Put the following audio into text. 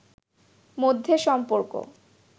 মধ্যে সম্পর্ক